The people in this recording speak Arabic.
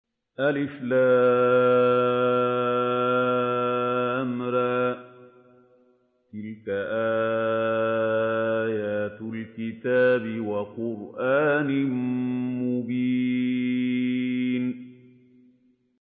الر ۚ تِلْكَ آيَاتُ الْكِتَابِ وَقُرْآنٍ مُّبِينٍ